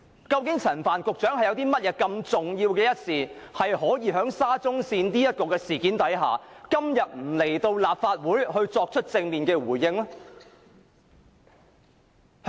究竟陳帆局長有甚麼重要的事情，不出席今天的立法會會議，就沙中線的事件作正面回應？